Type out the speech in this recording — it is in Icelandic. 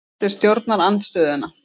Rætt við stjórnarandstöðuna